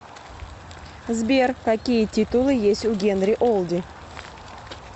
сбер какие титулы есть у генри олди